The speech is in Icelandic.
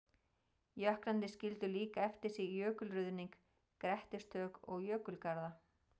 Jöklarnir skildu líka eftir sig jökulruðning, grettistök og jökulgarða.